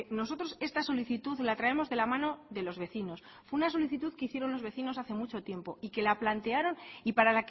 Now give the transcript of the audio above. nosotros esta solicitud la traemos de la mano de los vecinos una solicitud que hicieron los vecinos hace mucho tiempo y que la plantearon y para